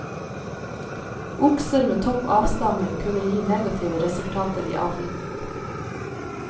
Okser med topp avstamning kunne gi negative resultater i avlen.